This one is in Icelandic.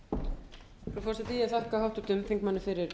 frú forseti ég þakka háttvirtum þingmanni fyrir